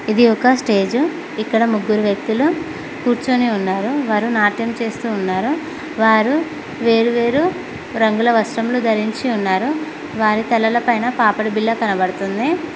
ఇది ఒక స్టేజ్ ఇక్కడ ముగ్గురు వ్యక్తులు కూర్చొని ఉన్నారు వారు నాట్యం చేస్తూ ఉన్నారా వారు వేరు వేరు రంగుల వస్త్రములు ధరించి ఉన్నారు వారి తలలపైన పాపడి బిల కనబడుతుంది.